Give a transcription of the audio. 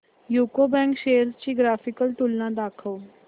UCO bank shares ची graphical तुलना दाखव